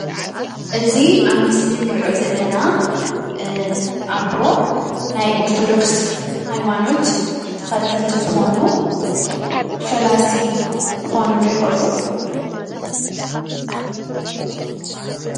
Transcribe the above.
እዚ ኣብ ምስሊ እንሪኦ ዘለና ኣቦ ናይ ኦርቶዶክስ ሃይማኖት ተኸተልቲ ዝኾኑ ፈላሲ ክኾኑ ዶ ይኽእሉ?